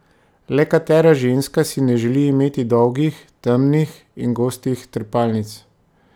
Le katera ženska si ne želi imeti dolgih, temnih in gostih trepalnic?